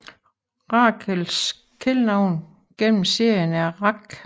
Rachels kælenavn gennem serien er Rach